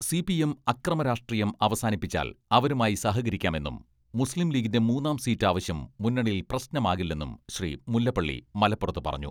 CPM അക്രമരാഷ്ട്രീയം അവസാനിപ്പിച്ചാൽ അവരുമായി സഹകരിക്കാമെന്നും മുസ്ലീം ലീഗിന്റെ മൂന്നാം സീറ്റ് ആവശ്യം മുന്നണിയിൽ പ്രശ്നമാകില്ലെന്നും ശ്രീ മുല്ലപ്പള്ളി മലപ്പുറത്ത് പറഞ്ഞു.